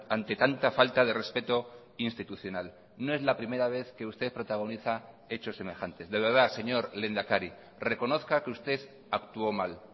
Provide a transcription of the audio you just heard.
ante tanta falta de respeto institucional no es la primera vez que usted protagoniza hechos semejantes de verdad señor lehendakari reconozca que usted actuó mal